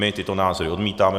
My tyto názory odmítáme.